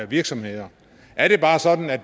virksomheder er det bare sådan at